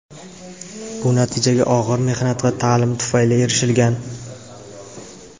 Bu natijaga og‘ir mehnat va ta’lim tufayli erishilgan.